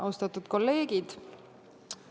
Austatud kolleegid!